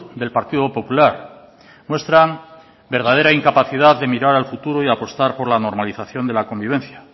del partido popular muestran verdadera incapacidad de mirar al futuro y apostar por la normalización dela convivencia